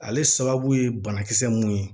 Ale sababu ye banakisɛ mun ye